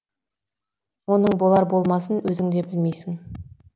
оның болар болмасын өзің де білмейсің